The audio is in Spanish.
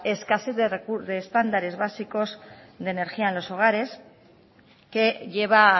escasez de estándares básicos de energía en los hogares que lleva a